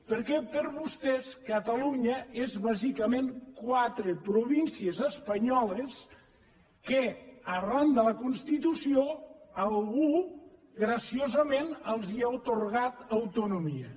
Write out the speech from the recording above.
perquè per vostès catalunya és bàsicament quatre províncies espanyoles a què arran de la constitució algú graciosament els ha atorgat autonomia